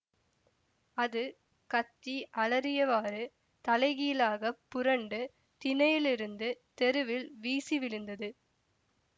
அது கத்தி அலறியவாறு தலைகீழாகப் புரண்டு திணையிலிருந்து தெருவில் வீசி விழுந்தது